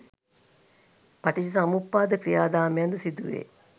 පටිච්චසමුප්පාද ක්‍රියාදාමයන් ද සිදුවේ.